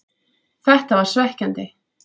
Þetta var svekkjandi,